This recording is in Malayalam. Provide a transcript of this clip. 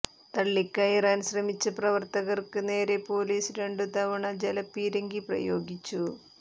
തള്ളിക്കയറാൻ ശ്രമിച്ച പ്രവർത്തകർക്ക് നേരെ പൊലീസ് രണ്ടു തവണ ജലപീരങ്കി പ്രയോഗിച്ചു